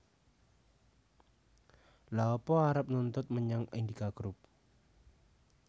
Lha opo arep nuntut menyang Indika Group?